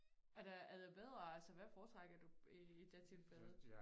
Er der er det bedre altså hvad foretrækker du i det tilfælde